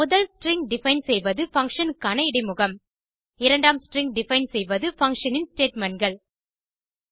முதல் string define செய்வது function க்கான இடைமுகம் இரண்டாம் ஸ்ட்ரிங் டிஃபைன் செய்வது பங்ஷன் இன் statementகள்